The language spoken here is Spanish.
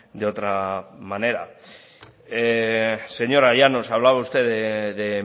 de otra manera señora llanos hablaba usted de